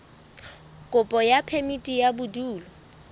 kopo ya phemiti ya bodulo